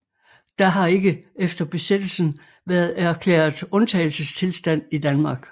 Der har ikke efter besættelsen været erklæret undtagelsestilstand i Danmark